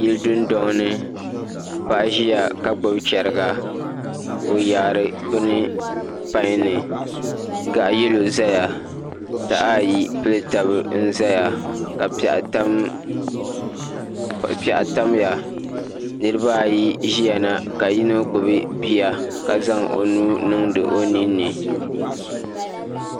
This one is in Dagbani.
Yili dundoŋno paɣa ʒiya ka gbubi chɛriga o yaari bini pai ni gaɣa yɛlo ʒɛya taha ayi pili tabi n ʒɛya ka piɛɣu tamya nirabaayi ʒiya na ka yino gbubi bia ka zaŋ o nuu niŋdi o ninni